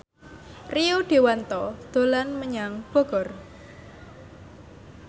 Rio Dewanto dolan menyang Bogor